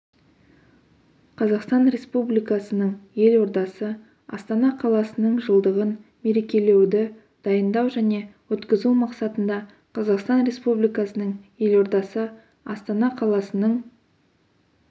қазақстан республикасының елордасы астана қаласының жылдығын мерекелеуді дайындау және өткізу мақсатында қазақстан республикасының елордасы астана қаласының